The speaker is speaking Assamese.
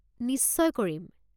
নিশচয় কৰিম!